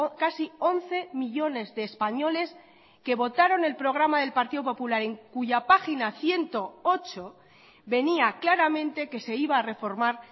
casi once millónes de españoles que votaron el programa del partido popular en cuya página ciento ocho venía claramente que se iba a reformar